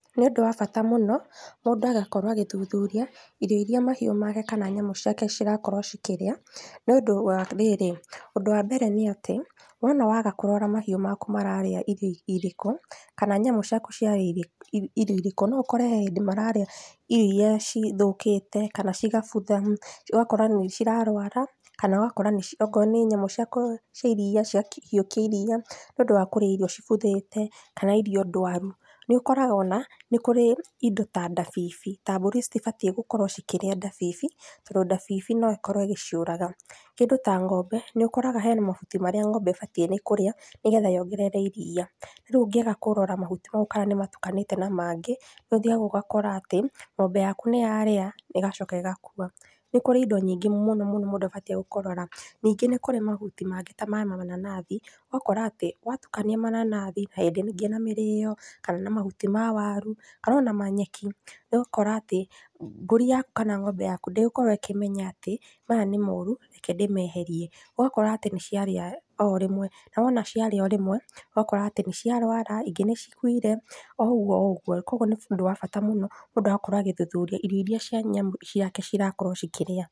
Nĩũndũ wa bata mũno, mũndũ agakorwo agĩthuthuria, irio iria mahiũ make kana nyamũ cirakorwo cikĩrĩa, nĩũndũ wa rĩrĩ, ũndũ wa mbere nĩ atĩ wona waga kũrora mahiũ maku mararĩa irio irĩku, kana nyamũ ciaku ciarĩa irĩ irio irĩku, noũkore hĩndĩ mararĩa irio cithũkĩte kana cigabutha, ũgakora nĩcirarwara, kana ũgakora nĩci okorwo nĩ nyamu cia iria, ciaki hiũkia iria, nĩũndũ wa kũrĩa irio cibuthĩte kana ndwaru, nĩũkoraga ona, nĩ kũrĩ indo ta ndabibi, ta mbũri citibatiĩ gũkorwo cikĩrĩa ndabibi, tondũ ndabibi noĩkorwo ĩgĩciũraga, kĩndũ ta ng'ombe nĩũkoraga hena mahuti marĩa ng'ombe ĩbatiĩ nĩ kũrĩa nĩgetha yongerere iria, rĩu ũngĩaga kũrora mahuti mau kana nĩmatukanĩte na mangĩ, ũthiaga ũgakora atĩ, ng'ombe yaku nĩyarĩa, ĩgacoka ĩgakua. Nĩ kũrĩ indo nyingĩ mũno mũno mũndũ abatiĩ kũrora, ningĩ nĩ kũrĩ mahuti mangĩ ta mamananathi, ũgakora atĩ, watukania mananathi narĩngĩ na mĩrĩo, kana na mahuti ma waru, kanona ma nyeki, nĩũgũkora, atĩ mbũri kana ng'ombe yaku ndĩgũkorwo ĩkĩmenya atĩ maya nĩ moru, reke ndĩmeherie, ũgakora atĩ nĩciarĩa orĩmwe, nawona ciarĩa orĩmwe, ũgakora atĩ nĩciarwara, ingĩ nĩcikuire, oũguo oũguo, koguo nĩũndũ wa bata mũno mũndũ agakorwo agĩthuthuria irio iria cia nyamũ ciake cirakorwo cikĩrĩa.